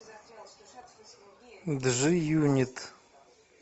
джи юнит